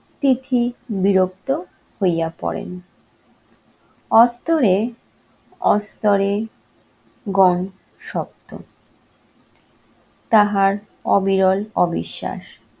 তিথি বিরক্ত হইয়া পড়েন। অর্থহে অস্তরে গন । তাহার অবিরল অবিশ্বাস,